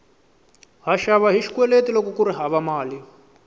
ha xava hi xikweleti loko kuri hava mali